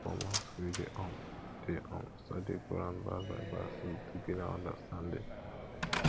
um for mosque we dey um dey um study quran verse by verse to deepen our understanding